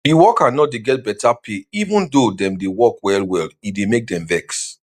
the worker no dey get better pay even though dem dey work well well e dey make dem vex